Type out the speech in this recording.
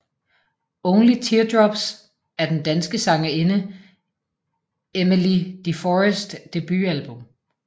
Only Teardrops er den danske sangerinde Emmelie de Forests debutalbum